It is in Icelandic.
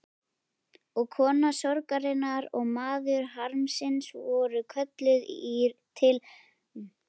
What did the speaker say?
Og kona sorgarinnar og maður harmsins voru kölluð til ráðstefnu.